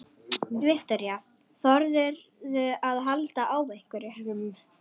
Viktoría: Þorðirðu að halda á einhverjum?